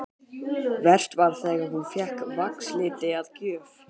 Verst var þegar hún fékk vaxliti að gjöf.